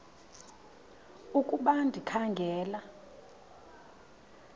ukuba ndikha ngela